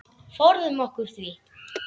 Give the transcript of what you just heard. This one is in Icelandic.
Forðum okkur því.